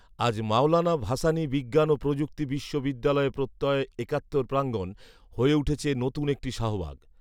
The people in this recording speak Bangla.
আজ মাওলানা ভাসানি বিজ্ঞান ও প্রযুক্তি বিশ্ববিদ্যালয়ে প্রত্যয় একাত্তর প্রাঙ্গন হয়ে উঠেছে নতুন একটি শাহবাগ